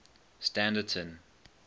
standerton